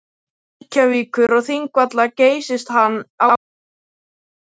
Reykjavíkur og Þingvalla geysist hann á einni sekúndu.